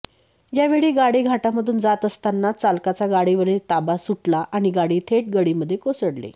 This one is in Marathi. यावेऴी गाडी घाटामधून जात असतानाच चालकाचा गाडीवरील ताबा सुटला आणि गाडी थेट गडीमध्ये कोसळली